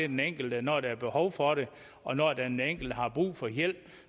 den enkelte når der er behov for det og når den enkelte har brug for hjælp